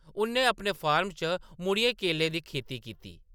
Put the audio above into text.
उ’न्नै‌ अपने फार्म च मुड़ियै केलें दी खेती कीती ।